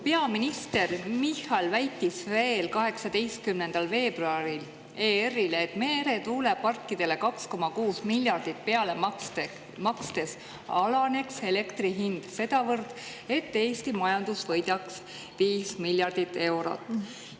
Peaminister Michal väitis veel 18. veebruaril ERR-ile, et meretuuleparkidele 2,6 miljardit peale makstes alaneks elektri hind sedavõrd, et Eesti majandus võidaks 5 miljardit eurot.